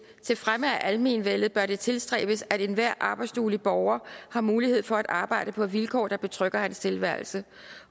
til fremme af almenvellet bør det tilstræbes at enhver arbejdsduelig borger har mulighed for arbejde på vilkår der betrygger hans tilværelse